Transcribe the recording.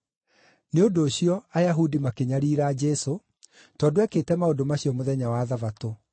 Nĩ ũndũ ũcio, Ayahudi makĩnyariira Jesũ, tondũ ekĩte maũndũ macio mũthenya wa Thabatũ.